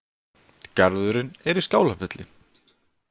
Garðurinn er í Skálafelli